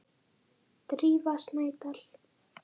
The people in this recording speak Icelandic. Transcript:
Drífa Snædal.